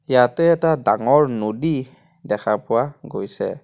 ইয়াতে এটা ডাঙৰ নদী দেখা পোৱা গৈছে।